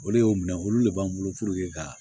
O le y'o minɛ olu de b'an bolo ka